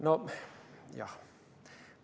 Noh, jah ...